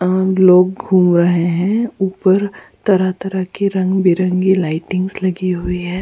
अ लोग घूम रहे हैं ऊपर तरह तरह की रंग बिरंगी लाइटिंग्स भी लगी हुई है।